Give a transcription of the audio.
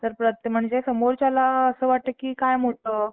म्हणजे समोरच्याला वाटतं की काय मोठं